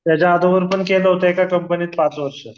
याच्या अगोदर पण केलं होतं एका कंपनीत पाच वर्ष